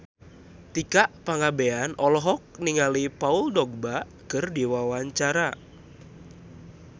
Tika Pangabean olohok ningali Paul Dogba keur diwawancara